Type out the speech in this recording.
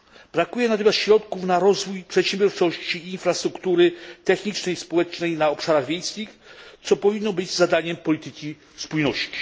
Brakuje natomiast środków na rozwój przedsiębiorczości, infrastruktury technicznej i społecznej na obszarach wiejskich, co powinno być zadaniem polityki spójności.